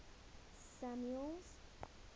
samuel's